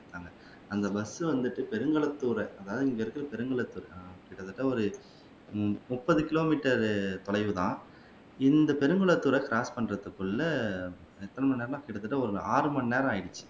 அங்க பஸ் வந்துட்டு பெருங்களத்தூர் அதாவது இங்க இருக்கிற பெருங்களத்தூர் ஆஹ் கிட்டத்தட்ட ஒரு முப்பது கிலோமீட்டர் தொலைவில் தான் இந்த பெருங்களத்தூர க்ராஸ் பண்றத்துக்குள்ள எத்தன மணி நேரம்னா கிட்டத்தட்ட ஒரு ஆறு மணி நேரம் ஆகிடுச்சி